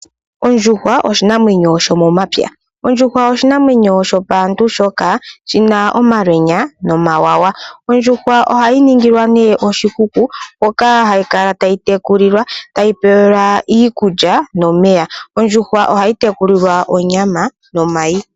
Ondjuhwa oshinamwenyo shomomapya. Ondjuhwa oshinamwenyo shopaantu shoka shina omalwenya. Ondjuhwa ohayi ningilwa nee oshikuku moka hayi kala tayi tekulilwa, tayi pewa iikulya nomeya . Ondjuhwa ohayi tekulilwa onyama nomayi.